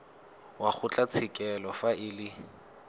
wa kgotlatshekelo fa e le